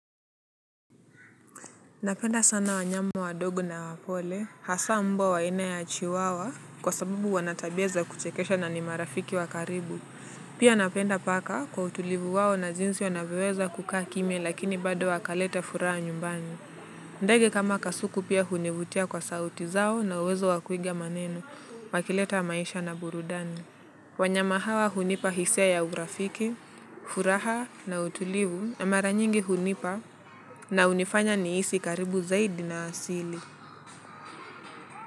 Napenda sana wanyama wadogo na wapole, hasa mbwa wa ina ya chiwawa kwa sabubu wanatabia za kuchekesha na ni marafiki wa karibu. Pia napenda paka kwa utulivu wao na jinsi wanavyoweza kukaa kimya lakini bado wakaleta furaha nyumbani. Ndege kama kasuku pia hunivutia kwa sauti zao na uwezo wa kuiga maneno, wakileta maisha na burudani. Wanyama hawa hunipa hisia ya urafiki, furaha na utulivu na mara nyingi hunipa na unifanya niisi karibu zaidi na asili.